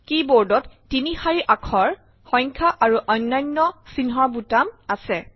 কী বোৰ্ডত তিনি শাৰী আখৰ সংখ্যা আৰু অন্যান্য চিহ্নৰ বুটাম আছে